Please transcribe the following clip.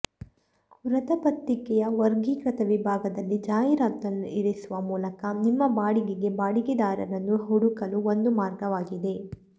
ವೃತ್ತಪತ್ರಿಕೆಯ ವರ್ಗೀಕೃತ ವಿಭಾಗದಲ್ಲಿ ಜಾಹೀರಾತನ್ನು ಇರಿಸುವ ಮೂಲಕ ನಿಮ್ಮ ಬಾಡಿಗೆಗೆ ಬಾಡಿಗೆದಾರರನ್ನು ಹುಡುಕಲು ಒಂದು ಮಾರ್ಗವಾಗಿದೆ